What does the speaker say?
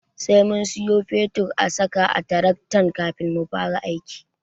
Sai mun siyo fetur a saka a taraktan kafin mu fara aiki.